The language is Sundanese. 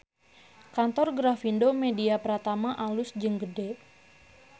Kantor Grafindo Media Pratama alus jeung gede